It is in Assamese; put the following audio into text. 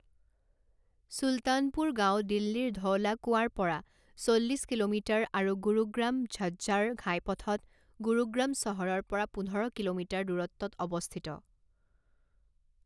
চুলতানপুৰ গাঁও দিল্লীৰ ধৌলা কুৱাৰ পৰা চল্লিছ কিলোমিটাৰ আৰু গুৰুগ্ৰাম ঝজ্জাৰ ঘাইপথত গুৰুগ্ৰাম চহৰৰ পৰা পোন্ধৰ কিলোমিটাৰ দূৰত্বত অৱস্থিত।